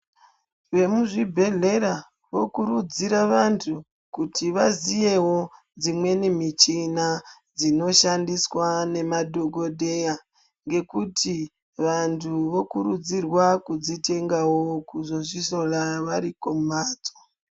Vemuzvibhedhleya vokurudzira vantu kuti vaziyewo dzimweni michina dzinoshandiswa nemadhokodheya ngekuti vantu vokurudzirwa kudzitengawo kuzozvihloya varikumhatso.